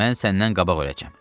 Mən səndən qabaq öləcəm.